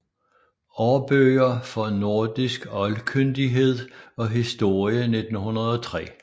Aarbøger for nordisk Oldkyndighed og Historie 1903